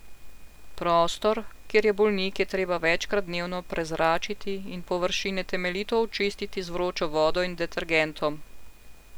Prostor, kjer je bolnik, je treba večkrat dnevno prezračiti in površine temeljito očistiti z vročo vodo in detergentom.